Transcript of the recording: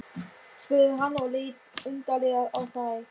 spurði hann og leit undarlega á þær.